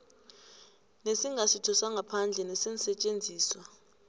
ngesingasitho sangaphandle neensetjenziswa